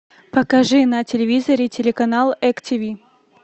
покажи на телевизоре телеканал эк тиви